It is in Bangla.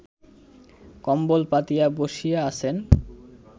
কম্বল পাতিয়া বসিয়া আছেন